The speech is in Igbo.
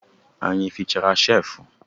Anyị efichara cheefu?